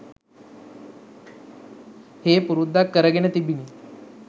හේ පුරුද්දක්‌ කරගෙන තිබිණි.